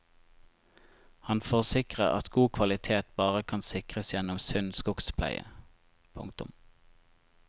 Han forsikrer at god kvalitet bare kan sikres gjennom sunn skogspleie. punktum